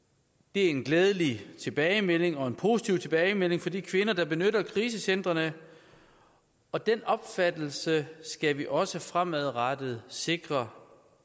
en glædelig tilbagemelding og en positiv tilbagemelding for de kvinder der benytter krisecentrene og den opfattelse skal vi også fremadrettet sikre